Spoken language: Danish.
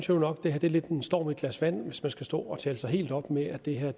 nu nok at det er lidt en storm i et glas vand hvis man skal stå og tale sig helt op med at det her er